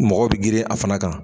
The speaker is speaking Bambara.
Mɔgɔ bɛ girin a fana kan.